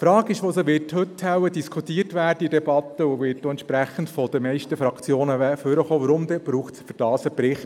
Die Frage, die heute in der Debatte wohl diskutiert und von den meisten Fraktionen angesprochen werden wird, ist, weshalb es denn dazu einen Bericht brauche.